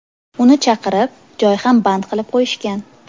Uni chaqirib, joy ham band qilib qo‘yishgan.